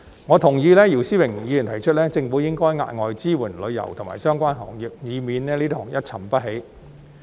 我同意姚思榮議員提出，政府應該加碼支援旅遊及相關行業，以免這些行業一沉不起。